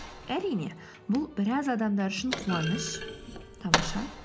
әрине бұл біраз адамдар үшін қуаныш тамаша